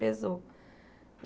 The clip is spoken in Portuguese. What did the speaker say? Pesou.